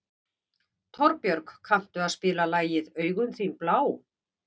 Torbjörg, kanntu að spila lagið „Augun þín blá“?